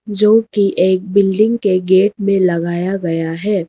जो की एक बिल्डिंग के गेट में लगाया गया है।